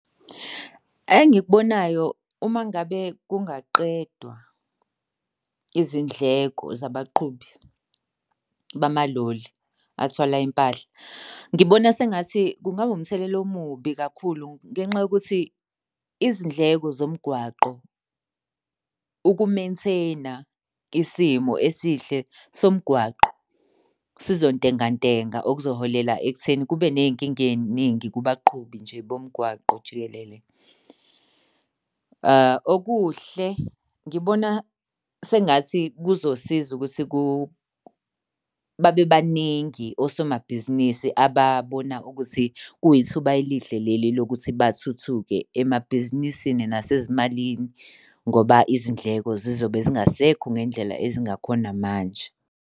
Engikubonayo, uma ngabe kungaqedwa izindleko zabaqhubi bamaloli athwala impahla. Ngibona sengathi kungaba umthelela omubi kakhulu ngenxa yokuthi izindleko zomgwaqo uku-maintain-a isimo esihle somgwaqo sizontenga ntenga okuholela ekutheni kube ney'nkinga ey'ningi kubaqhubi nje bomgwaqo jikelele. Okuhle ngibona sengathi kuzosiza ukuthi babe baningi osomabhizinisi ababona ukuthi kuyithuba elihle leli lokuthi bathuthuke emabhizinisini nasezimalini ngoba izindleko zizobe zingasekho ngendlela ezingakhona manje.